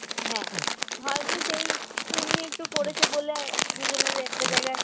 হ্যাঁ হয়ত সেই পূণ্যি একটু করেছে বলে দুজনেরই একটা জায়গায়